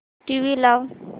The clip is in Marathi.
टीव्ही लाव